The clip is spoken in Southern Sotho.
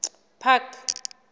park